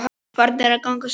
Farin að ganga strax!